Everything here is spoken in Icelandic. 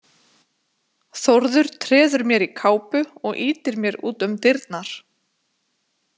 Þórður treður mér í kápu og ýtir mér út um dyrnar.